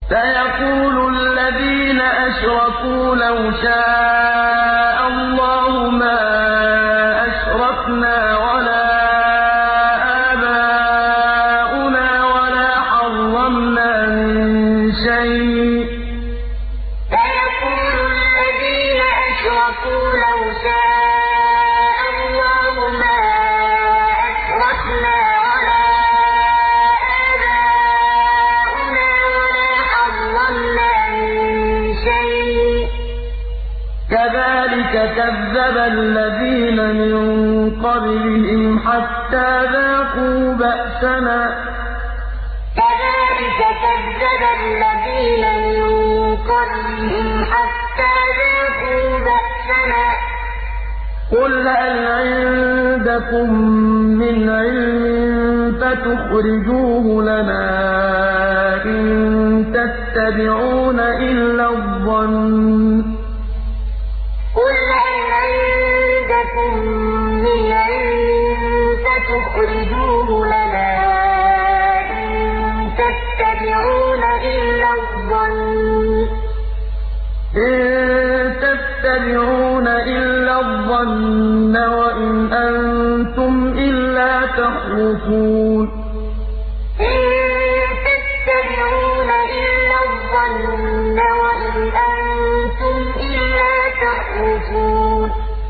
سَيَقُولُ الَّذِينَ أَشْرَكُوا لَوْ شَاءَ اللَّهُ مَا أَشْرَكْنَا وَلَا آبَاؤُنَا وَلَا حَرَّمْنَا مِن شَيْءٍ ۚ كَذَٰلِكَ كَذَّبَ الَّذِينَ مِن قَبْلِهِمْ حَتَّىٰ ذَاقُوا بَأْسَنَا ۗ قُلْ هَلْ عِندَكُم مِّنْ عِلْمٍ فَتُخْرِجُوهُ لَنَا ۖ إِن تَتَّبِعُونَ إِلَّا الظَّنَّ وَإِنْ أَنتُمْ إِلَّا تَخْرُصُونَ سَيَقُولُ الَّذِينَ أَشْرَكُوا لَوْ شَاءَ اللَّهُ مَا أَشْرَكْنَا وَلَا آبَاؤُنَا وَلَا حَرَّمْنَا مِن شَيْءٍ ۚ كَذَٰلِكَ كَذَّبَ الَّذِينَ مِن قَبْلِهِمْ حَتَّىٰ ذَاقُوا بَأْسَنَا ۗ قُلْ هَلْ عِندَكُم مِّنْ عِلْمٍ فَتُخْرِجُوهُ لَنَا ۖ إِن تَتَّبِعُونَ إِلَّا الظَّنَّ وَإِنْ أَنتُمْ إِلَّا تَخْرُصُونَ